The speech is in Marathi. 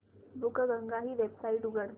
बुकगंगा ही वेबसाइट उघड